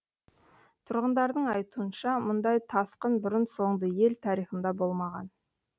тұрғындардың айтуынша мұндай тасқын бұрын соңды ел тарихында болмаған